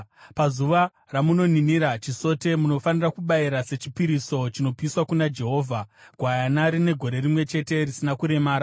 Pazuva ramunoninira chisote, munofanira kubayira sechipiriso chinopiswa kuna Jehovha, gwayana rine gore rimwe chete risina kuremara,